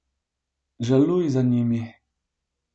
Žaluj za njimi.